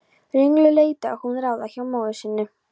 Ringluð leitaði hún ráða hjá móður sinni.